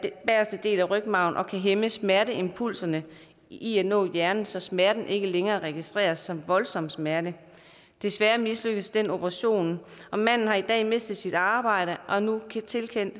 bageste del af rygmarven kan hæmme smerteimpulserne i at nå hjernen så smerten ikke længere registreres som voldsom smerte desværre mislykkedes den operation og manden har i dag mistet sit arbejde og er nu tilkendt